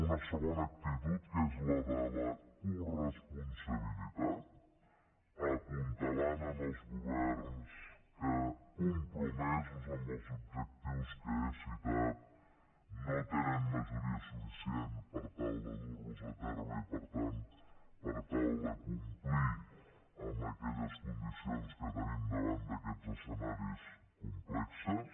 una segona actitud que és la de la coresponsabilitat apuntalant els governs que compromesos amb els objectius que he citat no tenen majoria suficient per tal de durlos a terme i per tant per tal de complir aquelles condicions que tenim davant d’aquests escenaris complexos